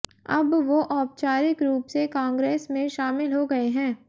अब वो औपचारिक रूप से कांग्रेस में शामिल हो गए है